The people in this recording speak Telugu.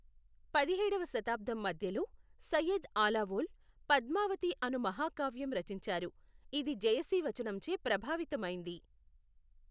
పదిహేడవ శతాబ్దం మధ్యలో సయ్యద్ ఆలాఓల్ పద్మావతి అను మహాకావ్యం రచించారు, ఇది జయసి వచనంచే ప్రభావితమైంది.